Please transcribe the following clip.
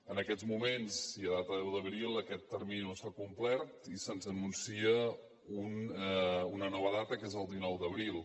en aquests moments i a data deu d’abril aquest termini no s’ha complert i se’ns anuncia una nova data que és el dinou d’abril